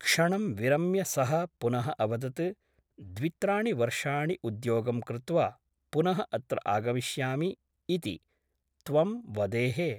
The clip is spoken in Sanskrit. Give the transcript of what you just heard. क्षणं विरम्य सः पुनः अवदत् द्वित्राणि वर्षाणि उद्योगं कृत्वा पुनः अत्र आगमिष्यामि इति त्वं वदेः ।